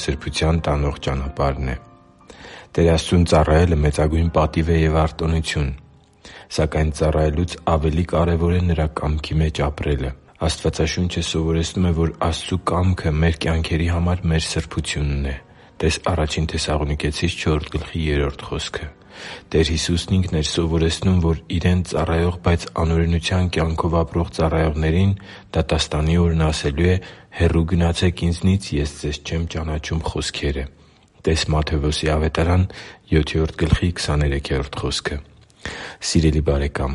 սրբության տանող ճանապարհն է Տեր Աստծուն ծառայելը մեծագույն պատիվ և արտոնություն է։ Սակայն ծառայելուց ավելի կարևոր է Նրա կամքի մեջ ապրելը։ Աստվածաշունչը սովորեցնում է, որ Աստծու կամքը մեր կյանքերի համար մեր սրբությունն է (տե՛ս Ա Թեսաղոնիկեցիս 4.3 խոսքը)։ Տեր Հիսուսն Ինքն էր սովորեցնում, որ Իրեն ծառայող, բայց անօրենության կյանքով ապրող ծառայողներին դատաստանի օրն ասելու է «Հեռու գնացե՛ք Ինձնից, Ես ձեզ չեմ ճանաչում» խոսքերը (տե՛ս Մատթեոս 7.23 խոսքը)։ Սիրելի՛ բարեկամ,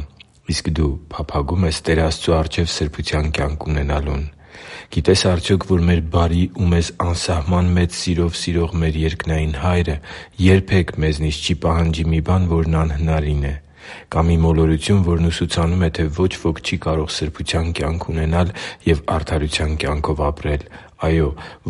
իսկ դու փափագո՞ւմ ես Տեր Աստծու առջև սրբության կյանք ունենալուն։ Գիտե՞ս արդյոք, որ մեր բարի ու մեզ անսահման մեծ սիրով սիրող մեր երկնային Հայրը երբե՛ք մեզնից չի պահանջի մի բան, որն անհնարին է։ Կա մի մոլորություն, որն ուսուցանում է, թե ոչ ոք չի կարող սրբության կյանք ունենալ և արդարության կյանքով ապրել։ Այո՛,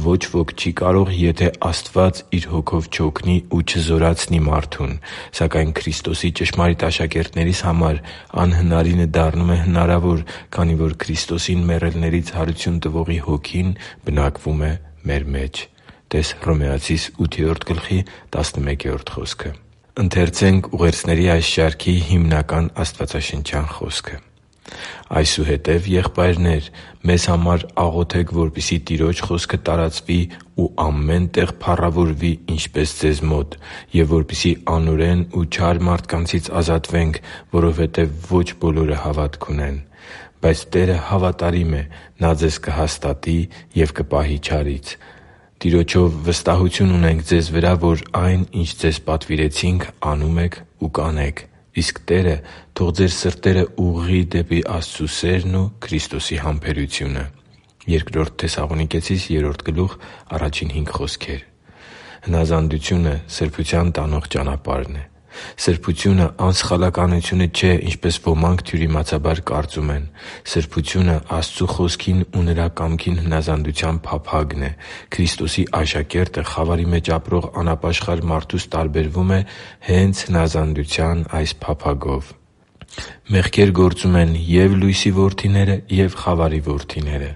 ոչ ոք չի կարող, եթե Աստված Իր Հոգով չօգնի ու չզորացնի մարդուն։ Սակայն Քրիստոսի ճշմարիտ աշակերտներիս համար անհնարինը դառնում է հնարավոր, քանի որ Քրիստոսին մեռելներից հարություն տվողի Հոգին բնակվում է մեր մեջ (տե՛ս Հռոմեացիս 8.11 խոսքը)։ «Այսուհետև, եղբայրնե՛ր, մեզ համար աղոթե՛ք, որպեսզի Տիրոջ խոսքը տարածվի ու ամեն տեղ փառավորվի, ինչպես ձեզ մոտ, և որպեսզի անօրեն ու չար մարդկանցից ազատվենք, որովհետև ոչ բոլորը հավատ ունեն։ Բայց Տերը հավատարիմ է. Նա ձեզ կհաստատի և կպահի չարից։ Տիրոջով վստահություն ունենք ձեզ վրա, որ այն, ինչ ձեզ պատվիրեցինք, անում եք ու կանեք։ Իսկ Տերը թող ձեր սրտերը ուղղի դեպի Աստծու սերն ու Քրիստոսի համբերությունը» (Բ Թեսաղոնիկեցիս 3.1-5)։ Հնազանդությունը սրբության տանող ճանապարհն է։ Սրբությունը անսխալականությունը չէ, ինչպես ոմանք թյուրիմացաբար կարծում են։ Սրբությունը Աստծու Խոսքին ու Նրա կամքին հնազանդության փափագն է։ Քրիստոսի աշակերտը խավարի մեջ ապրող անապաշխար մարդուց տարբերվում է հե՛նց հնազանդության փափագով։ Մեղք գործում են և՛ լույսի որդիները, և՛ խավարի որդիները։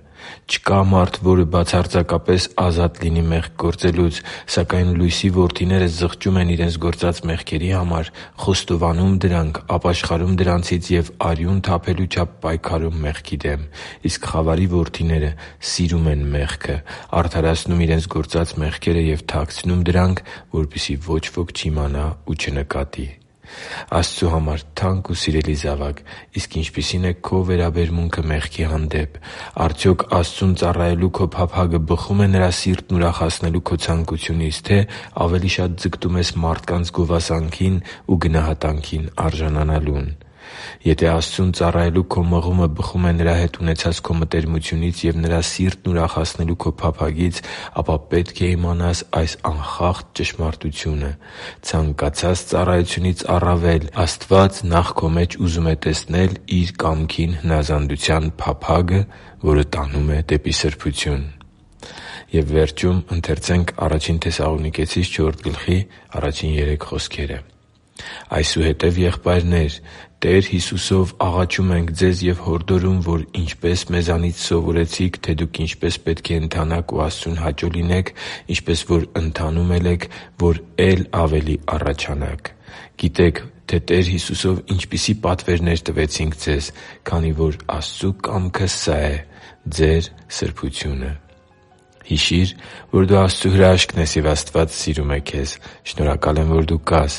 Չկա՛ մարդ, որ բացարձակապես ազատ լինի մեղք գործելուց։ Սակայն լույսի որդիները զղջում են իրենց գործած մեղքերի համար, խոստովանում դրանք, ապաշխարում դրանցից և արյուն թափելու չափ պայքարում մեղքի դեմ։ Իսկ խավարի որդիները սիրում են մեղքը, արդարացնում իրենց գործած մեղքերը և թաքցնում դրանք, որպեսզի ոչ ոք չիմանա ու չնկատի։ Աստծու համար թանկ ու սիրելի՛ զավակ, իսկ ինչպիսի՞ն է քո վերաբերմունքը մեղքի հանդեպ։ Արդյոք Աստծուն ծառայելու քո փափագը բխո՞ւմ է Նրա սիրտն ուրախացնելու քո ցանկությունից, թե՞ ավելի շատ ձգտում ես մարդկանց գովասանքին ու գնահատանքին արժանանալուն։ Եթե Աստծուն ծառայելու քո մղումը բխում է Նրա հետ ունեցած քո մտերմությունից և Նրա սիրտն ուրախացնելու քո փափագից, ապա պետք է իմանաս այս անխախտ ճշմարտութունը՝ ցանկացած ծառայությունից առավել Աստված նախ քո մեջ ուզում է տեսնել Իր կամքին հնազանդության փափագը, որը տանում է դեպի սրբություն։ «Այսուհետև, եղբայրնե՛ր, Տեր Հիսուսով աղաչում ենք ձեզ և հորդորում, որ ինչպես մեզանից սովորեցիք, թե դուք ինչպե՛ս պետք է ընթանաք ու Աստծուն հաճո լինեք, ինչպես որ ընթանում էլ եք, որ է՛լ ավելի առաջանաք։ Գիտեք, թե Տեր Հիսուսով ինչպիսի՛ պատվերներ տվեցինք ձեզ։ Քանի որ Աստծու կամքը սա է՝ ձեր սրբությունը․․․» (Ա Թեսաղոնիկեցիս 4․1-3): Հիշի՛ր, որ դու Աստծո հրաշքն ես, և Աստված սիրում է քեզ։ Շնորհակալ եմ, որ դու կա՛ս